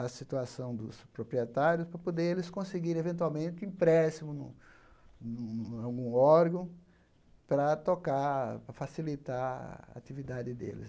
a situação dos proprietários para poder eles conseguir, eventualmente, empréstimo no no no algum órgão para tocar, para facilitar a atividade deles.